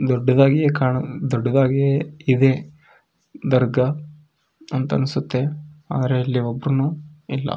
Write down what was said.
ದೊಡ್ಡದಾಗಿ ಕಾಣ ದೊಡ್ಡದಾಗಿ ಇದೆ ದರ್ಗ ಅಂತ ಅನ್ಸುತ್ತೆ ಆದರೆ ಇಲ್ಲಿ ಒಬ್ರುನು ಇಲ್ಲ.